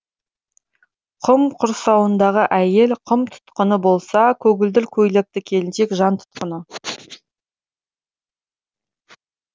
құм құрсауындағы әйел құм тұтқыны болса көгілдір көйлекті келіншек жан тұтқыны